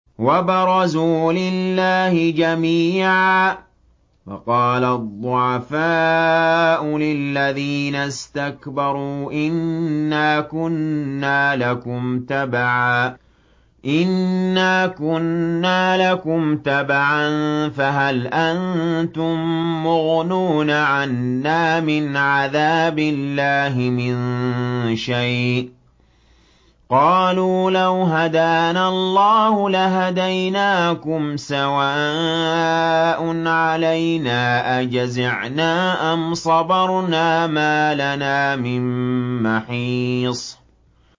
وَبَرَزُوا لِلَّهِ جَمِيعًا فَقَالَ الضُّعَفَاءُ لِلَّذِينَ اسْتَكْبَرُوا إِنَّا كُنَّا لَكُمْ تَبَعًا فَهَلْ أَنتُم مُّغْنُونَ عَنَّا مِنْ عَذَابِ اللَّهِ مِن شَيْءٍ ۚ قَالُوا لَوْ هَدَانَا اللَّهُ لَهَدَيْنَاكُمْ ۖ سَوَاءٌ عَلَيْنَا أَجَزِعْنَا أَمْ صَبَرْنَا مَا لَنَا مِن مَّحِيصٍ